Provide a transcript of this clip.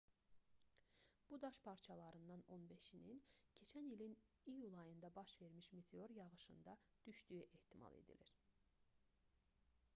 bu daş parçalarından on beşinin keçən ilin iyul ayında baş vermiş meteor yağışında düşdüyü ehtimal edilir